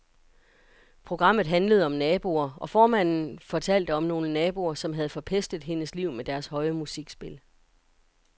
Programmet handlede om naboer, og formanden for fortalte om nogle naboer, som havde forpestet hendes liv med deres høje musikspil.